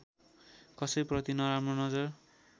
कसैप्रति नराम्रो नजर